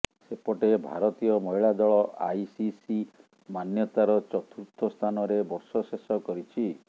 ସେପଟେ ଭାରତୀୟ ମହିଳା ଦଳ ଆଇସିସି ମାନ୍ୟତାର ଚତୁର୍ଥ ସ୍ଥାନରେ ବର୍ଷ ଶେଷ କରିଛି